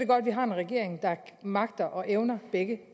godt at vi har en regering der magter og evner begge